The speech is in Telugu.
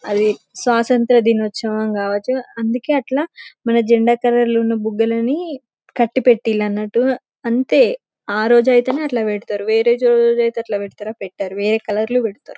అది స్వసంత్ర దినోత్సవం కావచ్చు అందుకే అట్ల మన జండా కలర్ లోన బుగ్గలన్ని కట్టిపెట్టిలు అనటు అంతే ఆరోజు ఐతేనే అట్లా పెడతారు వేరే రోజైతే అట్లా పెడతారా పెట్టారు వేరే కలర్లు పెడతారు .